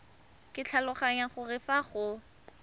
ke tlhaloganya gore fa go